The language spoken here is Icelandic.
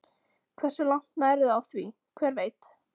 Hversu langt nærðu á því, hver veit?